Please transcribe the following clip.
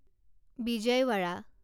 Vijayawada